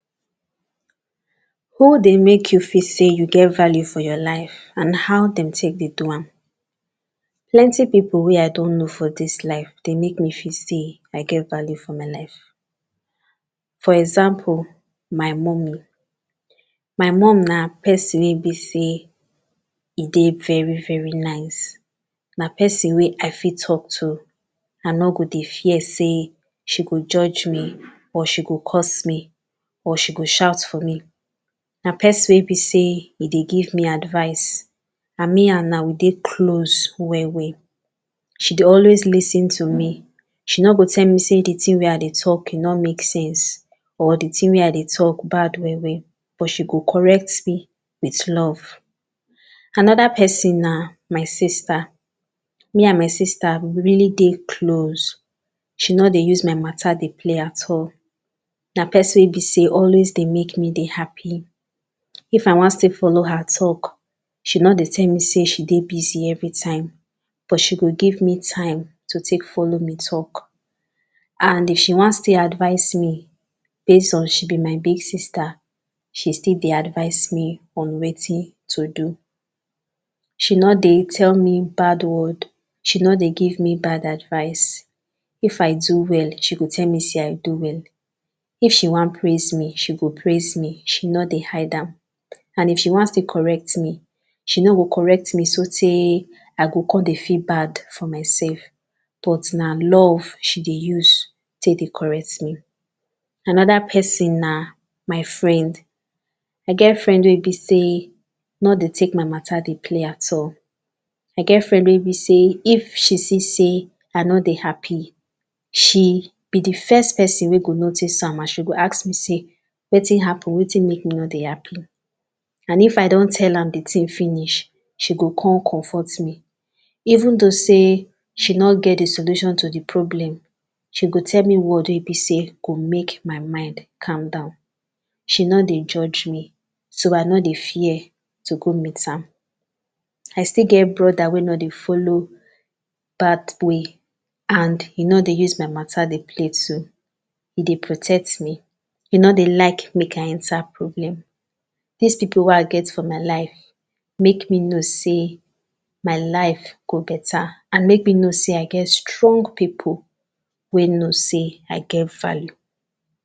who dey make yu feel sey yu get value for yor life and haw dem take dey do am plenti pipol wey i don know for dis life dey make me feel sey i get value for my life for example my mummy my mum na pesin wey bi sey e dey veri veri nice na pesin wey i fit talk to i no go dey fear sey she go judge me or she go course me or she go shout for me na pesin wey be sey e dey give me advice and me and am we dey close well well she dey always lis ten to me she no go tell me sey di tin wey i dey talk e no make sese or di tin wey i dey talk bad well well but she go correct me with love anoda pesin na my sista me and my sista we really dey close she no dey use my matter dey play at all na pesin wey be sey always dey make me dey happi if i wan still follow her talk she no dey tell me say she dey busy evritime but she go give me time to take follow me talk and if she wan still advice me base on she bi my best sista she still dey advice me on wetin to do she no dey tell me bad word she no dey give me bad advice if i do well she go tell me say i do well if she wan praise me she go praise me she no dey hide am and if she wan still correct me she no go correct me so tareee i go come dey feel bad for myself but na love she dey use take dey correct me anoda pesin na my friend i get friend wey e bi sey no dey take my matter dey play at all i get friend wey bi sey if she see sey i no dey happi she be di first pesin wey go notice am and she go ask me sey wetin happen wetin make me no dey happi and if i don tell am di tin finish she go come comfort me even though say she no get di solution to di problem she go tell me word wey e bi say make my mind calm down she no dey jugde me so i no dey fear to go meet am i still get broda wey no dey follow bad way and he no dey use my matter dey play too e dey protect me e no dey like make i enta problem dis pipol wey i get for my life make me know sey my life go beta and make me know sey i get strong pipol wey know sey i get value